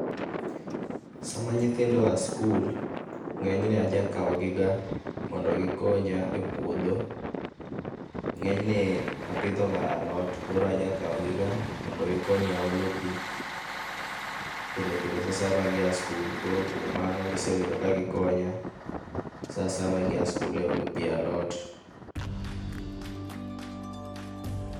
Sama nyithindo oa skul ngenyne aja kawgi ga mondo gikonya e puodho, ngenyne apidho ga alot koro aja kawgi ga mondo gikonya olo pii pile pile saa asaya ma gia e skul, koro kuom mano gisebedo ka gikonya saa asaya ma gi a skul e olo pii e alot